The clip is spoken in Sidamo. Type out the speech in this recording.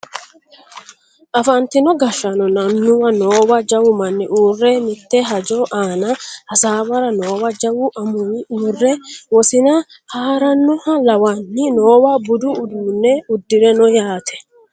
afantino gashshaanonna annuwu noowa jawu manni uurre mitte hajo aana hasaawara noowa jawu amuwi uurre wosina haarannoha lawanni noowa budu uduunne uddire no yaate